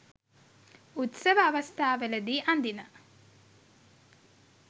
උත්සව අවස්ථාවලදී අඳින